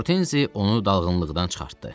Hortenzi onu dalğınlıqdan çıxartdı.